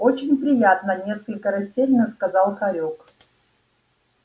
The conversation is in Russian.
очень приятно несколько растерянно сказал хорёк